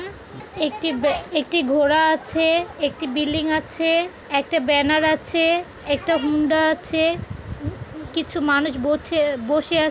একটি ব্যা একটি ঘোড়া আছে-এ একটি বিল্ডিং আছে-এ একটা ব্যানার আছে-এ একটা হুন্ডা আছে-এ। হম কিছু মানুষ বছে বসে আ--